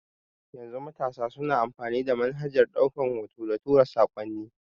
Yanzu matasa suna amfani da manhajar ɗaukan hoto da tura sakonni